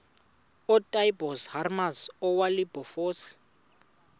ootaaibos hermanus oowilberforce